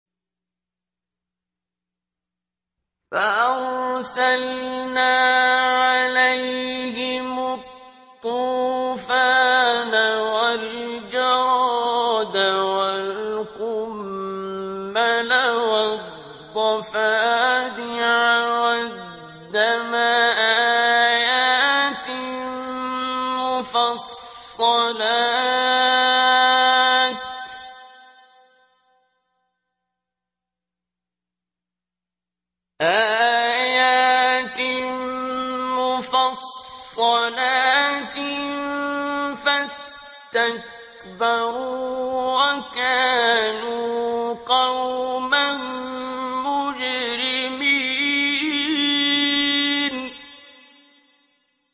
فَأَرْسَلْنَا عَلَيْهِمُ الطُّوفَانَ وَالْجَرَادَ وَالْقُمَّلَ وَالضَّفَادِعَ وَالدَّمَ آيَاتٍ مُّفَصَّلَاتٍ فَاسْتَكْبَرُوا وَكَانُوا قَوْمًا مُّجْرِمِينَ